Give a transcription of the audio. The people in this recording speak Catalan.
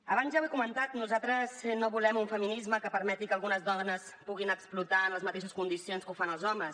abans ja ho he comentat nosaltres no volem un feminisme que permeti que algunes dones puguin explotar en les mateixes condicions que ho fan els homes